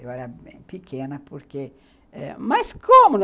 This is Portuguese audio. Eu era pequena, porque... Eh, mas como?